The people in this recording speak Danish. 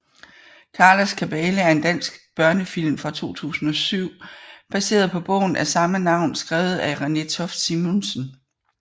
Karlas kabale er en dansk børnefilm fra 2007 baseret på bogen af samme navn skrevet af Renée Toft Simonsen